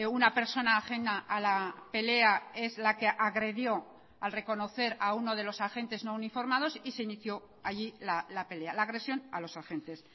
una persona ajena a la pelea es la que agredió al reconocer a uno de los agentes no uniformados y se inicio allí la pelea la agresión a los agentes